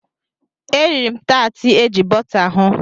E riri m taatị eji bọta hụ.